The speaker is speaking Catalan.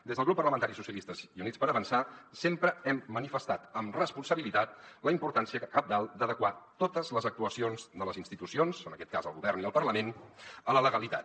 des del grup parlamentari socialistes i units per avançar sempre hem manifestat amb responsabilitat la importància cabdal d’adequar totes les actuacions de les institucions en aquest cas el govern i el parlament a la legalitat